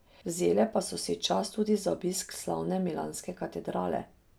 Vzele pa so si čas tudi za obisk slavne milanske katedrale.